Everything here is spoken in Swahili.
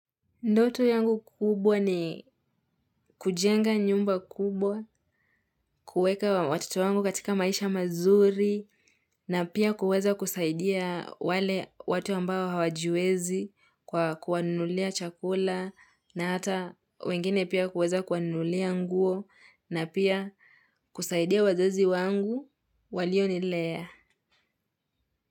Ndoto yangu kubwa ni kujenga nyumba kubwa, kuweka watoto wangu katika maisha mazuri na pia kuweza kusaidia wale watu ambao hawajiwezi kwa kuwanulia chakula na hata wengine pia kuweza kuwanulia nguo na pia kusaidia wazazi wangu walionilea.